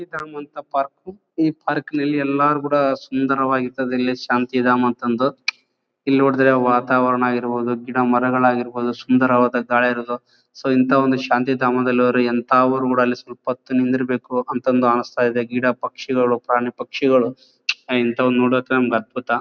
ಶಾಂತಿಧಾಮ ಅಂತ ಪರ್ಕ್ ಈ ಪಾರ್ಕ್ ನಲ್ಲಿ ಎಲ್ಲರು ಕೂಡ ಸುಂದರವಾಗಿ ಇರ್ತಾದ್ದೆಈ ಇಲ್ಲಿ ಶಾಂತಿಧಾಮ ಅಂತ ಅಂದು ಇಲ್ ನೋಡಿದ್ರೆ ವಾತಾವರ ಇರಬಹುದು ಗಿಡ ಮರಗಳಾಗಿರಬಹುದು ಸುಂದರ ಗಾಳಿಇರೋದು ಸೊ ಇಂಥ ಒಂದು ಶಾಂತಿಧಾಮದಲ್ ಹೋದ್ರೆ ಎಂಥ ಅವರು ಕೂಡ ಅಲ್ಲಿ ಸ್ವಲ್ಪ ಹೋತು ನಿಂದ್ರ್ ಬೇಕು ಅಂತ ಅಂದು ಅನ್ನಿಸ್ತದೆ ಗಿಡ ಪಕ್ಷಿಗಳು ಪ್ರಾಣಿ ಪಕ್ಷಿಗಳು ಆಹ್ಹ್ ಇಂಥವನ್ನ ನೋಡ್ಬೇಕಂದ್ರೆ ನಮಗೆ ಅದ್ಭುತ.